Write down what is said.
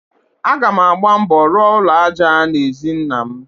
Aga m agba mbọ rụọ ụlọ aja n'ezi nnam.